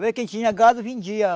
Vez quem tinha gado, vendia.